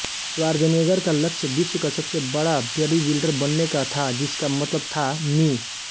Schwarzenegger का लक्ष्य विश्व का सबसे बड़ा बॉडीबिल्डर बनने का था जिसका मतलब था मि